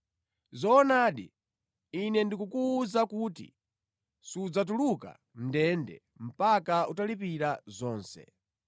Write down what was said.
Zoonadi, Ine ndikukuwuza kuti sudzatuluka mʼndende mpaka utalipira zonse.